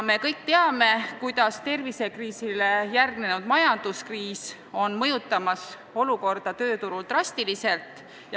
Me kõik teame, kuidas tervisekriisile järgnenud majanduskriis mõjutab olukorda tööturul drastiliselt.